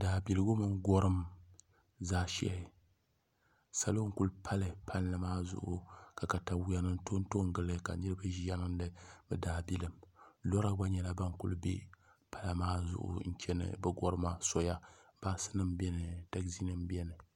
Daabiligu mini gɔrim zaashɛhi salo n-kuli pali palli maa zuɣu ka takayuhi to n-to n-gili ka niriba ʒiya niŋdi bɛ daabilim loorinima gba nyɛla bana kuli be pala zuɣu n-chani bɛ gɔrima soya baasinima beni taɣizinima beni